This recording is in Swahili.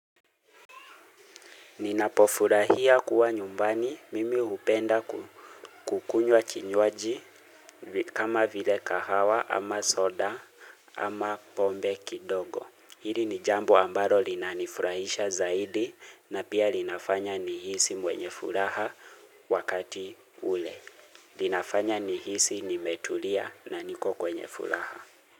Ninapofurahia kuwa nyumbani mimi hupenda kukunywa kinywaji kama vile kahawa ama soda ama pombe kidogo. Hili ni jambo ambalo linanifurahisha zaidi na pia linafanya nihisi mwenye furaha wakati ule. Linafanya nihisi nimetulia na niko kwenye furaha.